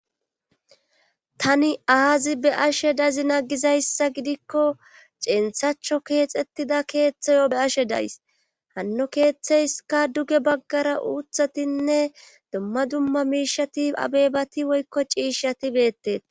tani aazi be ashe dazi nagizayssa gidikko centhacho keexettida keeththayo be ashe days hanno keeththeyska duge baggara uuthatinne dumma dumma miishati abebati woykko ciishshati beettet